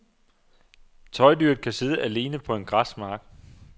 Tøjdyret kan sidde alene på en græsmark.